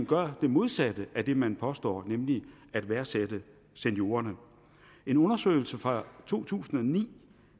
gør det modsatte af det man påstår man nemlig at værdsætte seniorerne en undersøgelse fra to tusind og ni